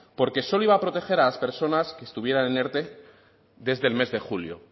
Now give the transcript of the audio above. porque solo iba a proteger a las personas que estuvieran en erte desde el mes de julio